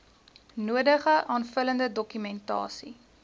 nodige aanvullende dokumentasie